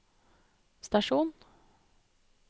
stasjon